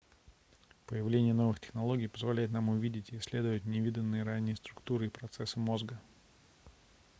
появление новых технологий позволяет нам увидеть и исследовать невиданные ранее структуры и процессы мозга